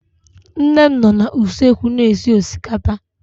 Nne m nọ na usekwu na-esi osikapa